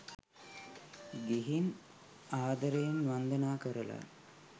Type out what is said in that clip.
ගිහින් ආදරයෙන් වන්දනා කරලා